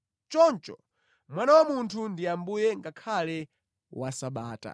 Choncho Mwana wa Munthu ali Ambuye ngakhale wa Sabata.”